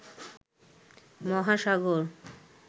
মহাসাগর